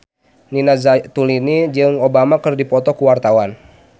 Nina Zatulini jeung Obama keur dipoto ku wartawan